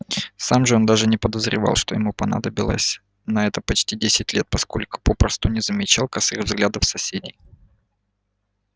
сам же он даже не подозревал что ему понадобилось на это почти десять лет поскольку попросту не замечал косых взглядов соседей